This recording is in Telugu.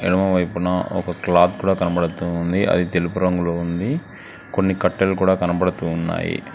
ఎడమ వైపున ఒక క్లాత్ కూడా కనపడుతూ ఉంది అది తెలుపు రంగులో ఉంది కొన్ని కట్టలు కూడా కనపడుతూ ఉన్నాయి.